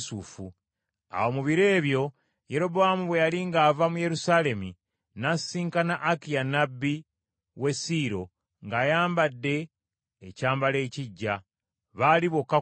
Awo mu biro ebyo Yerobowaamu bwe yali ng’ava mu Yerusaalemi, n’asisinkana Akiya nnabbi w’e Siiro ng’ayambadde ekyambalo ekiggya, baali bokka ku ttale.